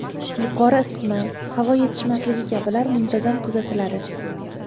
Yuqori isitma, havo yetishmasligi kabilar muntazam kuzatiladi.